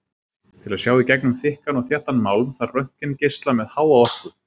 Til að sjá í gegnum þykkan og þéttan málm þarf röntgengeisla með háa orku.